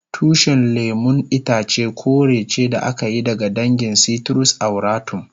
Tushin lemun itace kore ce da aka yi daga dangin citrus aurantum.